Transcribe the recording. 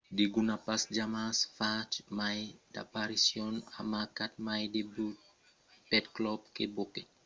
degun a pas jamai fach mai d'aparicions o marcat mai de but pel club que bobek